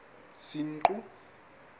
senqu